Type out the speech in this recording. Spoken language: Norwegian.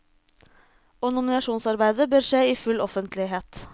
Og nominasjonsarbeidet bør skje i full offentlighet.